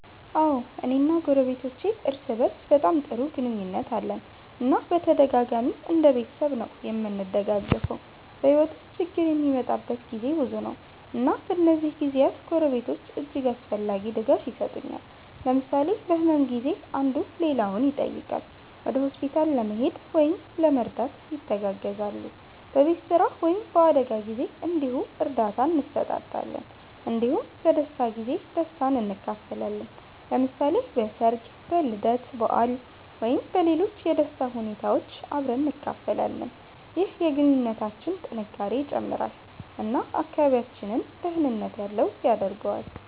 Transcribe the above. አዎ፣ እኔ እና ጎረቤቶቼ እርስ በእርስ በጣም ጥሩ ግንኙነት አለን እና በተደጋጋሚ እንደ ቤተሰብ ነዉ እምንደጋገፈዉ። በሕይወት ውስጥ ችግር የሚመጣበት ጊዜ ብዙ ነው፣ እና በእነዚህ ጊዜያት ጎረቤቶች እጅግ አስፈላጊ ድጋፍ የሰጡኛል። ለምሳሌ በህመም ጊዜ አንዱ ሌላውን ይጠይቃል፣ ወደ ሆስፒታል ለመሄድ ወይም ለመርዳት ይተጋገዛሉ። በቤት ስራ ወይም በአደጋ ጊዜ እንዲሁ እርዳታ እንሰጣጣለን እንዲሁም በደስታ ጊዜ ደስታን እንካፈላለን። ለምሳሌ በሠርግ፣ በልደት በዓል ወይም በሌሎች የደስታ ሁኔታዎች አብረን እንካፈላለን። ይህ የግንኙነታችንን ጥንካሬ ይጨምራል እና አካባቢያችንን ደህንነት ያለው ያደርገዋል።